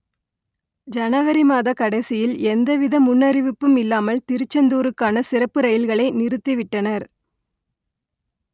ஜனவரி மாத கடைசியில் எந்தவித முன் அறிவிப்பும் இல்லாமல் திருச்செந்தூருக்கான சிறப்பு ரயில்களை நிறுத்திவிட்டனர்